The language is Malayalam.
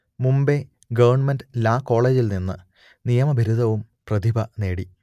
മുംബൈ ഗവണ്മെന്റ് ലാ കോളെജിൽ നിന്ന് നിയമ ബിരുദവും പ്രതിഭ നേടി